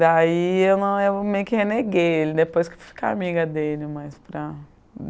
Daí eu meio que reneguei ele, depois que eu fui ficar amiga dele, mas para